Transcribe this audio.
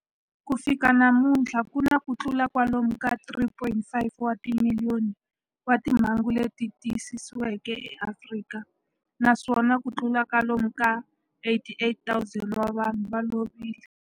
Ku fika namuntlha ku na kutlula kwalomu ka 3.5 wa timiliyoni wa timhangu leti tiyisisiweke eAfrika, naswona kutlula kwalomu ka 88,000 wa vanhu va lovile.